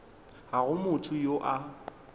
ga go motho yo a